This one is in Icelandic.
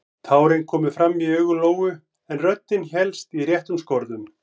Tárin komu fram í augu Lóu en röddin hélst í réttum skorðum.